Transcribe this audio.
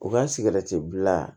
U ka sigɛrɛti bila